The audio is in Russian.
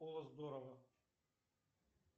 о здорово